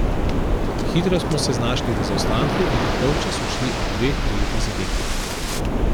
Hitro smo se znašli v zaostanku in na polčas odšli ob dveh prejetih zadetkih.